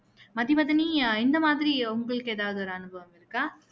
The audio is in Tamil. மதிவதனி இந்த மாதிரி உங்களுக்கு எதாவது ஒரு அனுபவம் இருக்கா